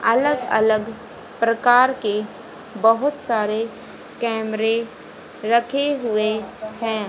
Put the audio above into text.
अलग अलग प्रकार के बहुत सारे कैमरे रखे हुए हैं।